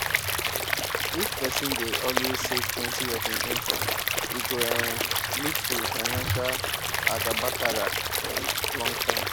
if person dey always savetwentyof im income e go um lead to financial agabakara for long time